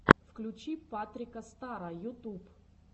включи патрика стара ютуб